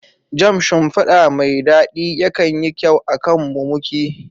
Jam, shimfida mai dadi ya kan yi kyau akan mumuki.